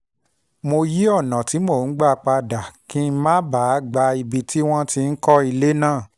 mo yí ọ̀nà tí mò ń gbà padà kí n má bàa gba ibi tí wọ́n ti ń kọ́lé náà